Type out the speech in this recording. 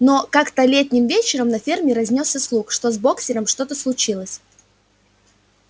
но как-то летним вечером по ферме разнёсся слух что с боксёром что-то случилось